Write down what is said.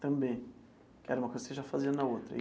Também, que era uma coisa que você já fazia na outra.